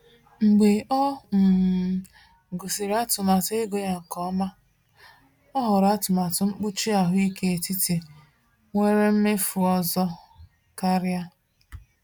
Mgbe ọ um gụsịrị atụmatụ ego ya nke ọma, ọ họrọ atụmatụ mkpuchi ahụike etiti nwere mmefu ọzọ karịa.